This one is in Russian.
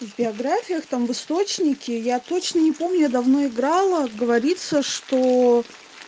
в биографиях там в источнике я точно не помню я давно играла говорится что